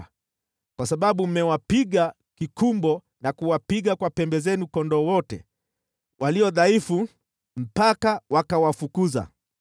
Kwa sababu mmewapiga kikumbo na kuwapiga kwa pembe zenu kondoo wote walio dhaifu mpaka wakawafukuza,